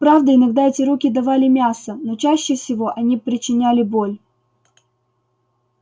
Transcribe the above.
правда иногда эти руки давали мясо но чаще всего они причиняли боль